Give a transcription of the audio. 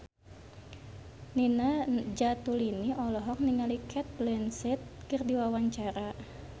Nina Zatulini olohok ningali Cate Blanchett keur diwawancara